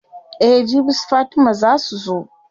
Eh jibi su fatima zaa su zo.